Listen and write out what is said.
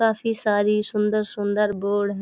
काफी सारी सुंदर-सुंदर बोर्ड है।